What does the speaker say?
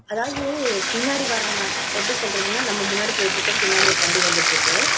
அதாவது பின்னாடி வர்றவன் எப்படி சொல்றதுன்னா நம்ம முன்னாடி போயிட்டு இருக்கும் பின்னாடி வந்து வண்டி வந்துட்டு இருக்கு